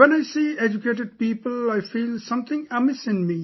When I see educated people, I feel something amiss in me